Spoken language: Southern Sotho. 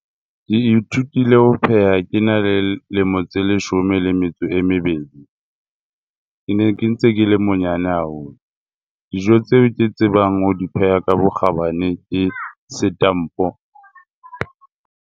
Ke ithutile ho pheha ke na le lemo tse leshome le metso e mebedi. Ke ne ntse ke le monyane haholo. Dijo tse ke tsebang ho di pheha ka bokgabane ke setampo.